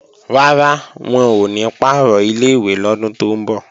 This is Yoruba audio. Rárá, wọn ò ní pàrọ̀ ilé-ìwé lọ́dún tó ń bọ̀